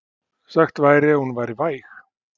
Sagt væri að hún væri væg.